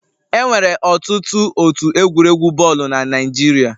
Enwere ọtụtụ otu egwuregwu bọọlụ na Naịjirịa.